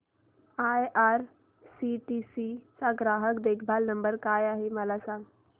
IRCTC चा ग्राहक देखभाल नंबर काय आहे मला सांग